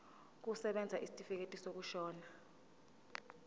kusebenza isitifikedi sokushona